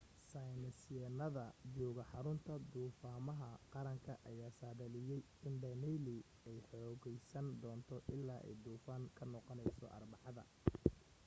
saynisyahanada jooga xarunta duufaamaha qaranka ayaa saadaadliyay in danielle ay xoogaysan doonto illaa ay duufaan ka noqonayso arbacada